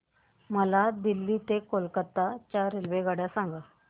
मला दिल्ली ते कोलकता च्या रेल्वेगाड्या सांगा